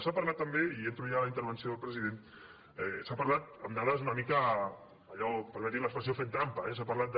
s’ha parlat també i entro ja en la intervenció del president amb dades una mica allò permetin me l’expressió fent trampa eh s’ha parlat de